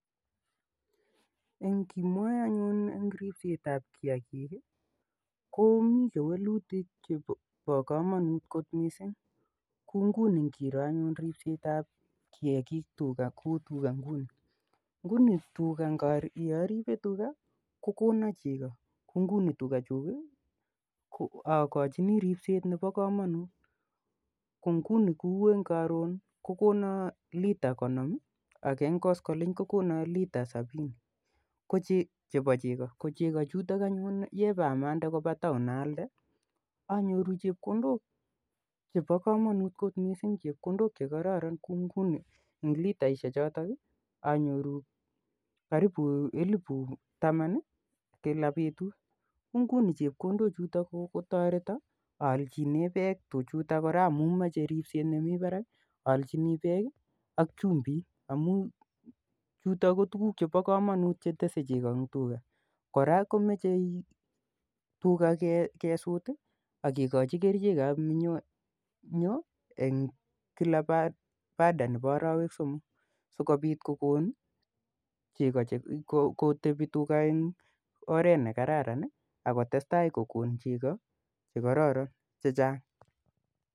Eng' ngimwae anyun eng' ripset ap kiakik ko mi kewelutik che pa kamanut kot missing' kou nguni ngiro anyun ripset ap kiakik kou tuga nguni. Nguni tuga, ya aripe tuga ko kona cheko. Kou nguni tugchuuk i, akachini ripset nepo kamanut. Ko nguni kou eng' karon ko kona lita konom ak eng' koskoliny kokona lita sapini chepo cheko. Ko cheko chutok anyun ye pa mande kopa taon aalde, anyoru chepkondok chepa kamanut kot missing'. Chepkondok che kararan kou nguni eng' litaishechok anyoru karipu elipu taman i kila petut. Ko nguni chepkondochutok kotareta aalchine pek tuchuta kora amun mache ripset nemi parak, aalchini peek ak chumbiik amj chuto ko tuguuk che pa kamanut che tese cheko eng' tuga. Kora komache tuga kesut ak kekachi kerichek ap minyoo eng' kila baada nepa arawek somok si kopit kokon cheko ak kotepi tuga eng' oret nr kararan akotestai kokon cheko che kararanen che chang'.